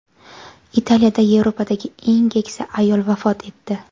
Italiyada Yevropadagi eng keksa ayol vafot etdi.